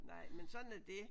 Nej men sådan er det